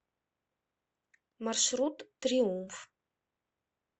маршрут триумф